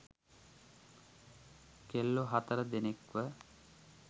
කෙල්ලෝ හතර දෙනෙක්ව